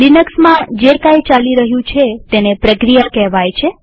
લિનક્સમાં જે કઈ ચાલી રહ્યું છે તેને પ્રક્રિયા કહેવાય છે